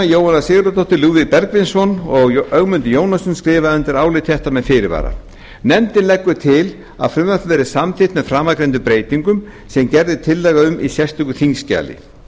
jóhanna sigurðardóttir lúðvík bergvinsson og ögmundur jónasson skrifa undir álit þetta með fyrirvara nefndin leggur til að frumvarpið verði samþykkt með framangreindum breytingum sem gerð er tillaga um í sérstöku þingskjali